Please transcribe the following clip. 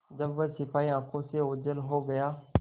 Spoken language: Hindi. जब वह सिपाही आँखों से ओझल हो गया